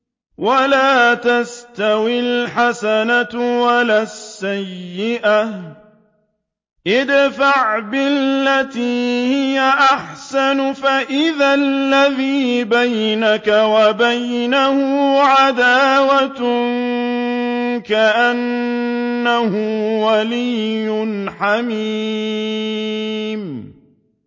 وَلَا تَسْتَوِي الْحَسَنَةُ وَلَا السَّيِّئَةُ ۚ ادْفَعْ بِالَّتِي هِيَ أَحْسَنُ فَإِذَا الَّذِي بَيْنَكَ وَبَيْنَهُ عَدَاوَةٌ كَأَنَّهُ وَلِيٌّ حَمِيمٌ